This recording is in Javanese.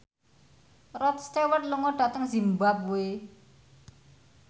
Rod Stewart lunga dhateng zimbabwe